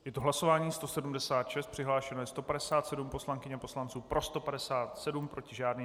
Je to hlasování 176, přihlášeno je 157 poslankyň a poslanců, pro 157, proti žádný.